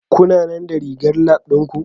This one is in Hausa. Kuna nan da rigar Lab ɗin ku?